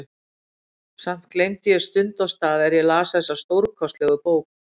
Samt gleymdi ég stund og stað er ég las þessa stórkostlegu bók.